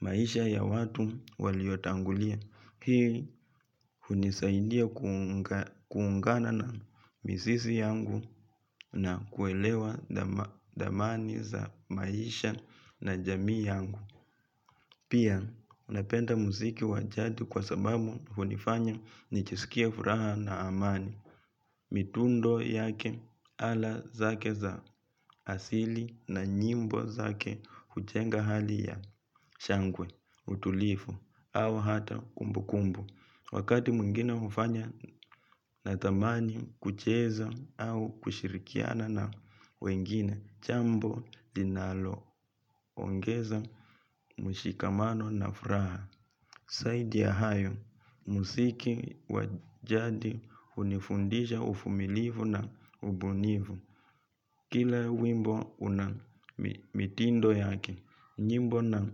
maisha ya watu waliotangulia hii hunisaidia kuungana na mizizi yangu na kuelewa dhamani za maisha na jamii yangu pia napenda muziki wa jadi kwa sababu hunifanya nijisikie furaha na amani midundo yake ala zake za asili na nyimbo zake hujenga hali ya shangwe, utulivu, au hata kumbukumbu. Wakati mwingina hufanya na tamani kucheza au kushirikiana na wengine, jambo linalo ongeza mshikamano na furaha. Zaidi ya hayo, muziki wa jadi hunifundisha uvumilivu na ubunifu. Kila wimbo unamitindo yake, nyimbo na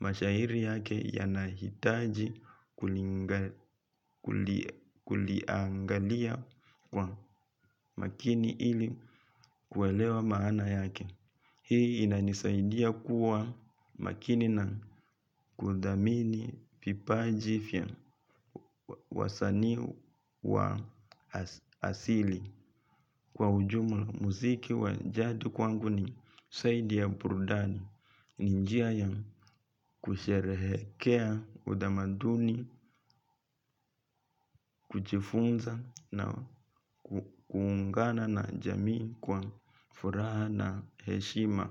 mashahiri yake yanahitaji kuliangalia kwa makini ili kuelewa maana yake. Hii inanisaidia kuwa makini na kudhamini vipaji vya wa sanii wa asili kwa ujumu muziki wa jadu kwangu ni zaidi ya burudani ni njia ya kusherehekea utamaduni kujifunza na kuungana na jamii kwa furaha na heshima.